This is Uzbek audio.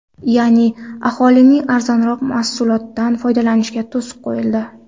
Ya’ni, aholining arzonroq mahsulotdan foydalanishiga to‘siq qo‘yildi.